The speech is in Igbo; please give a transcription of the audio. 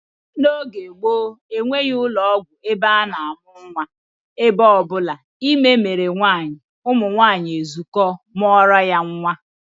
N'oge gboo, enweghị ụlọọgwụ ebe a na-amụ nnwa, ebe ọ bụla ime mere nwaanyị, ụmụnwaanyị ezukọọ mụọrọ ya nnwa